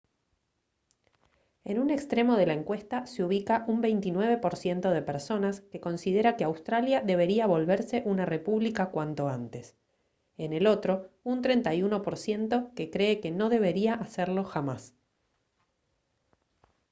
en un extremo de la encuesta se ubica un 29 % de personas que considera que australia debería volverse una república cuanto antes; en el otro un 31 % que cree que no debería hacerlo jamás